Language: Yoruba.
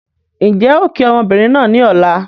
N jẹ́ ó kii ọmọbìnrin náà ni Ọ̀la.